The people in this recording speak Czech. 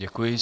Děkuji.